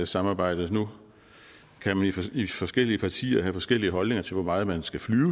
samarbejdet nu kan man i forskellige partier selvfølgelig have forskellige holdninger til hvor meget man skal flyve